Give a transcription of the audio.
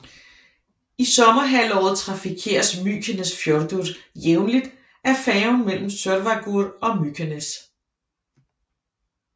I sommerhalvåret trafikeres Mykinesfjørður jævnlig af færgen mellem Sørvágur og Mykines